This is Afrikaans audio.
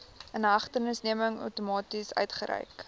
inhegtenisneming outomaties uitgereik